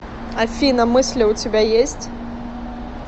афина мысли у тебя есть